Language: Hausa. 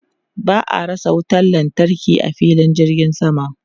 Ba a rasa wutan lantarki a filin jirgin sama.